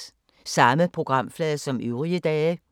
Samme programflade som øvrige dage